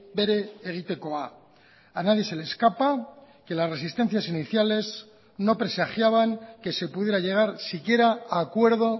bere egitekoa a nadie se le escapa que las resistencias iniciales no presagiaban que se pudiera llegar siquiera a acuerdo